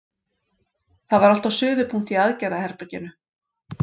Það var allt á suðupunkti í aðgerðaherberginu.